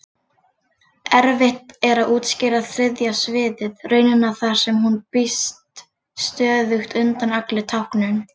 Erfitt er að útskýra þriðja sviðið, raunina þar sem hún brýst stöðugt undan allri táknun.